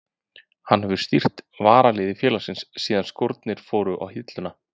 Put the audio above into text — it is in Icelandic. Hann hefur stýrt varaliði félagsins síðan skórnir fóru á hilluna.